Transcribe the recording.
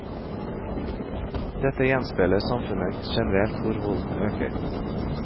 Dette gjenspeiler samfunnet generelt hvor volden øker.